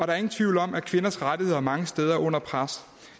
er ingen tvivl om at kvinders rettigheder mange steder er under pres